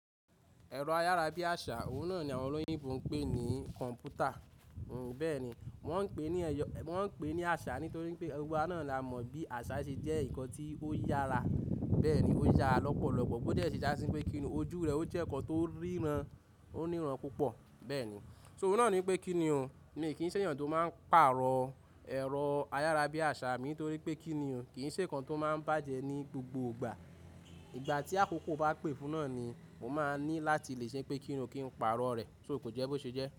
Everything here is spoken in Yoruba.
Ẹ̀rọ ayárabíàṣá, òun náà ni àwọn olóyún fún ń pè ní kọ̀m̀pútà. Bẹ́ẹ̀ni, wọ́n ń pè ní àṣá nítorí pé gbogbo wa náà la mọ̀ bí àṣá ṣe jẹ́ nǹkan tí ó yára. Bẹ́ẹ̀ni, ó yára lọ́pọ̀lọpọ̀ bó tí ẹ sì dásí pé kí ni ojú rẹ̀, ó jẹ́ ǹkan tó ríran, ó níran púpọ̀. Bẹ́ẹ̀ni, só òun náà ni pé kí ni òun, mi ò kí ń ṣẹ̀yàn tó máa ń pààrọ̀ ẹ̀rọ ayárabíàṣá mi nítorí pé kí ni ò, kì í ṣe ǹkan tó máa ń bàjẹ́ ní gbogbo ìgbà. Ìgbà tí àkókò bá pè fún náà ni mo máa ní láti lè ṣe pé kí n ò kí n pààrọ̀ rẹ̀. Sóò kò jẹ́ bó ṣe jẹ́.